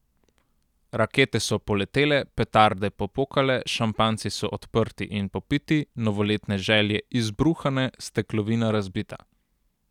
Rakete so poletele, petarde popokale, šampanjci so odprti in popiti, novoletne želje izbruhane, steklovina razbita.